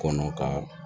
Kɔnɔ ka